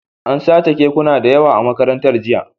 An sace kekuna da yawa a Makarantar jiya